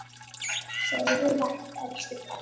Sofðu vært, elsku pabbi minn.